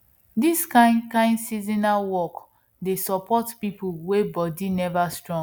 this kind kind seasonal work dey support people wey body never strong